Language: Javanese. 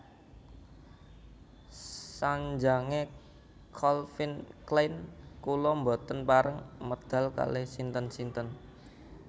Sanjange Calvin Klein kula mboten pareng medal kalih sinten sinten